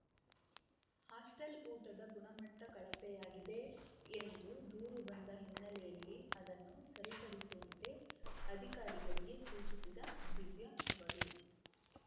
hostel ಊಟದ ಗುಣಮಟ್ಟಕಳಪೆಯಾಗಿದೆ ಎಂದು ದೂರು ಬಂದ ಹಿನ್ನೆಲೆಯಲ್ಲಿ ಅದನ್ನು ಸರಿಪಡಿಸುವಂತೆ ಅಧಿಕಾರಿಗಳಿಗೆ ಸೂಚಿಸಿದ ದಿವ್ಯಾ ಅವರು